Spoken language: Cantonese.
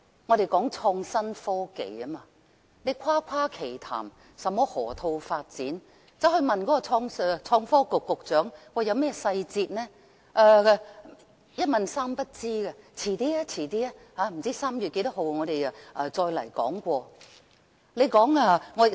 我們談到創新科技，誇誇其談甚麼河套發展，但當向創科局局長詢問有關細節時，他卻是一問三不知，只推說稍後大約在3月份便會再講述。